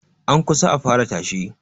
An kusa a fara tashe